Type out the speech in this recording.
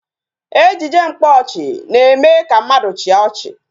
Ejije mkpaọchị na-eme ka mmadụ chịa ọchị